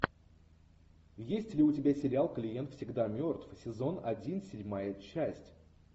есть ли у тебя сериал клиент всегда мертв сезон один седьмая часть